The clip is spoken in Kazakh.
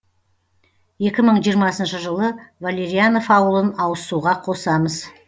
екі мың жиырмасыншы жылы валерянов ауылын ауызсуға қосамыз